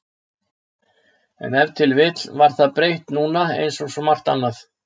En ef til vill var það breytt núna einsog svo margt annað.